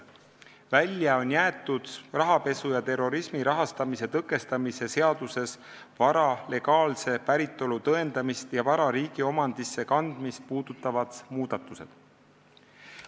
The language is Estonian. Välja on jäetud rahapesu ja terrorismi rahastamise tõkestamise seaduses vara legaalse päritolu tõendamist ja vara riigi omandisse kandmist puudutavad muudatused.